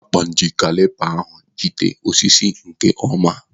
Akpan ji kalipa ahụ jigide osisi nke ọma.